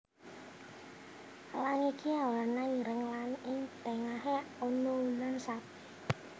Elang iki awerna ireng lan ing tengahé ana wulan sabit